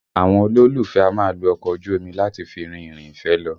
Àwọn olólùfẹ́ a máa lo ọkọ ojú omi láti fi rin ìrìn ìfẹ́ lọ